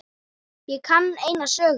Ég kann eina sögu.